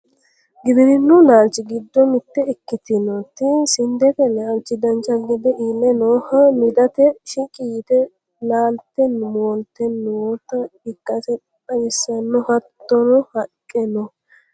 giwirinnu laalchi giddo mitte ikkitinoti sindete laalchi dancha gede iille nooha midate shiqqi yite laalte moolte noota ikkase xawissanno hattono haqqe no